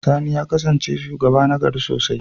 Sani ya kasance shugaba nagari sosai.